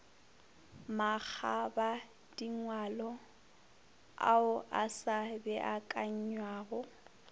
makgobadingwalo ao a sa beakanywago